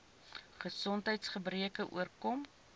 gesondheids gebreke oorkom